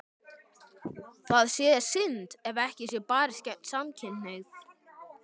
Það sé þó synd ef ekki sé barist gegn samkynhneigð.